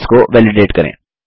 sales को validate करें